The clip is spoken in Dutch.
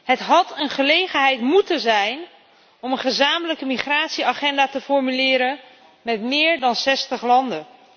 Het had een gelegenheid moeten zijn om een gezamenlijke migratieagenda te formuleren met meer dan 60 landen.